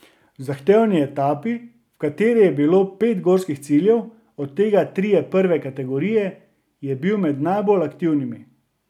V zahtevni etapi, v kateri je bilo pet gorskih ciljev, od tega trije prve kategorije, je bil med najbolj aktivnimi.